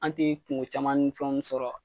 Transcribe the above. An te kuŋo caman ni fɛnw sɔrɔ